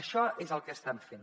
això és el que estem fent